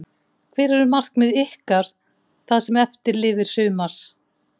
Hver eru markmið ykkar það sem eftir lifir sumars?